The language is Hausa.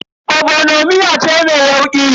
Ogbono miya ce mai yauƙi.